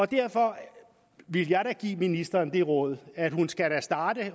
derfor vil jeg da give ministeren det råd at hun skal starte